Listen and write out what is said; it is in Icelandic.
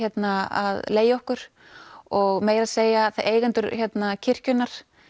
að leigja okkur og meira að segja eigendur kirkjunnar